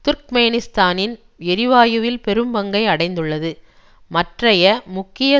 துர்க்மேனிஸ்தானின் எரிவாயுவில் பெரும் பங்கை அடைந்துள்ளது மற்றய முக்கிய